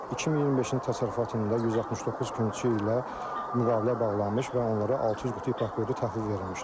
2025-ci təsərrüfat ilində 169 kümçü ilə müqavilə bağlanmış və onlara 600 qutu ipəkqurdu təhvil verilmişdir.